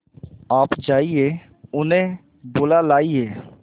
आप जाइए उन्हें बुला लाइए